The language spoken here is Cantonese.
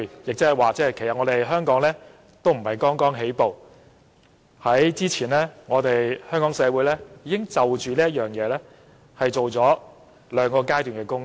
來到第三階段，即是說，香港並非剛剛起步，早前香港社會已在這方面進行了兩個階段的工作。